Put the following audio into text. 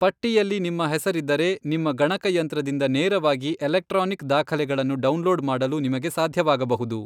ಪಟ್ಟಿಯಲ್ಲಿ ನಿಮ್ಮ ಹೆಸರಿದ್ದರೆ, ನಿಮ್ಮ ಗಣಕಯಂತ್ರದಿಂದ ನೇರವಾಗಿ ಎಲೆಕ್ಟ್ರಾನಿಕ್ ದಾಖಲೆಗಳನ್ನು ಡೌನ್ಲೋಡ್ ಮಾಡಲು ನಿಮಗೆ ಸಾಧ್ಯವಾಗಬಹುದು.